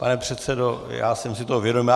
Pane předsedo, já jsem si toho vědom.